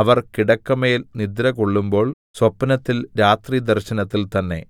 അവർ കിടക്കമേൽ നിദ്രകൊള്ളുമ്പോൾ സ്വപ്നത്തിൽ രാത്രിദർശനത്തിൽ തന്നെ